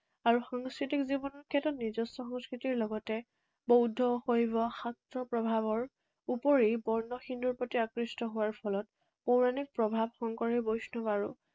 আৰু সাংস্কৃতিক জীৱনৰ ক্ষেত্ৰত নিজস্ব সংস্কৃতিৰ লগতে বৌধ, শৈৱ, শাক্তৰ প্ৰভাৱৰ উপৰি বৰ্ণ হিন্দুৰ প্ৰতি আকৃষ্ট হোৱাৰ ফলত পৌৰাণিক প্ৰভাৱ, শংকৰী বৈষ্ণৱ আৰু